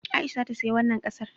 Aisha za ta saya wannan ƙasar